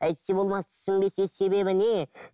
әйтсе болмас түсінбесе себебі не